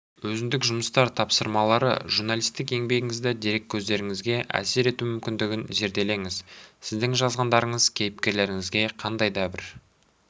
өзіндік жұмыстар тапсырмалары журналистік еңбегіңіздің дереккөздеріңізге әсер ету мүмкіндігін зерделеңіз сіздің жазғандарыңыз кейіпкерлеріңізге қандай да бір